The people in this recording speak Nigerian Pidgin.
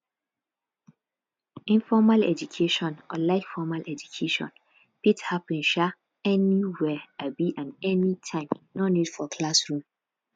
informal education unlike formal education fit happen um anywhere um and anytime no need for classroom